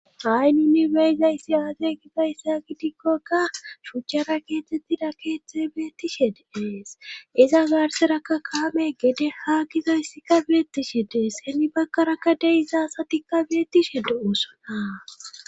hayninni beyzayssi aaze gizayssa gidikkokka shuchchara keethtettida keeththe beettishe deees iza gaarserakka kaame gede ha gizayssikka beettishe dees heni bakkarakka de izaasatikka beettishe do7osonaa